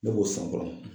Ne b'o sɔn kɔrɔ